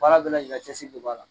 Baara bɛɛ lajɛlen de b'a la